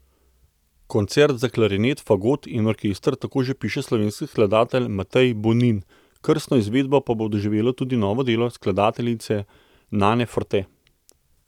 Koncert za klarinet, fagot in orkester tako že piše slovenski skladatelj Matej Bonin, krstno izvedbo pa bo doživelo tudi novo delo skladateljice Nane Forte.